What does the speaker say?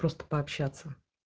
просто пообщаться